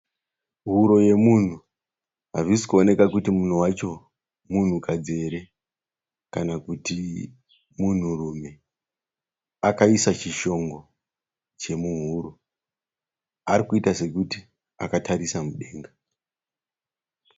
Huro yomunhu hazvisi kuoneka kuti munhu wacho munhukadzi here kana kuti munhurume. Akaisa chishongo chemuhuro. Ari kuita sekuti akatarisa mudenga.